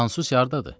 Sansusi hardadır?